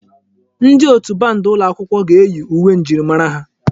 Ndi otù band ụlọ akwụkwọ ga-eyi uwe njirimara ha.